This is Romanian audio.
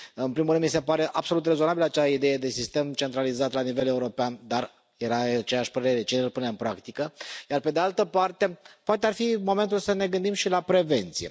În primul mi se pare absolut rezonabilă acea idee de sistem centralizat la nivel european, dar eram de aceeași părere cine îl pune în practică? Pe de altă parte, poate ar fi momentul să ne gândim și la prevenție.